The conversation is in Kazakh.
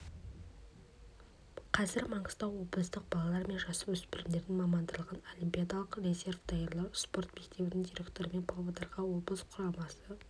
қазір маңғыстау облыстық балалар мен жасөспірімдердің мамандандырылған олимпиадалық резерв даярлау спорт мектебінің директорымын павлодарға облыс құрамасы